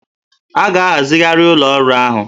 A ga-ahazigharị ụlọ ọrụ ahụ